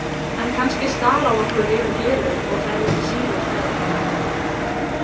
En kannski stara á okkur yfir gleraugun og það yrði ekki síður hræðilegt.